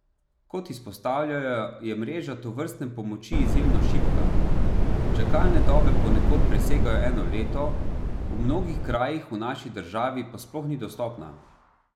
Kot izpostavljajo, je mreža tovrstne pomoči izjemno šibka, čakalne dobe ponekod presegajo eno leto, v mnogih krajih v naši državi pa sploh ni dostopna.